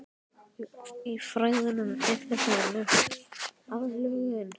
Í fræðunum er þetta nefnt aðlögun.